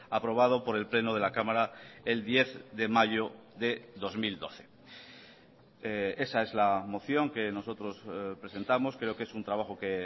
aprobado por el pleno de la cámara el diez de mayo de dos mil doce esa es la moción que nosotros presentamos creo que es un trabajo que